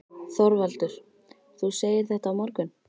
ÞORVALDUR: Þú segir þetta á morgun?